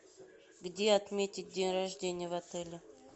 где отметить день рождения в отеле